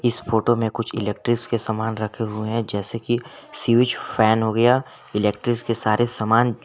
इस फोटो में कुछ इलेक्ट्रिक के सामान रखे हुए हैं जैसे कि स्विच फैन हो गया इलेक्ट्रिक के सारे सामान।